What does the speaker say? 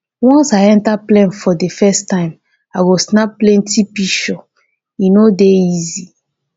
once i enta plane for di first time i go snap plenty pishure e no dey easy.